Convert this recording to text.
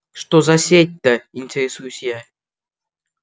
что за сеть-то интересуюсь я